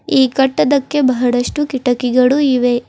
ಈ ಕಟ್ಟದಕ್ಕೆ ಬಹಳಷ್ಟು ಕಿಟಕಿಗಳು ಇವೆ.